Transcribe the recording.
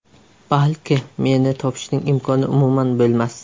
Balki, meni topishning imkoni umuman bo‘lmas.